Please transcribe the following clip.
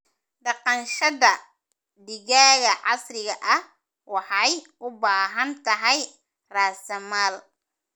Dhaqashada digaaga casriga ah waxay u baahan tahay raasamaal.